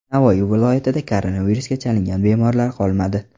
Navoiy viloyatida koronavirusga chalingan bemorlar qolmadi .